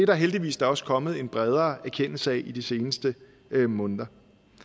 da heldigvis også kommet en bredere erkendelse af i de seneste måneder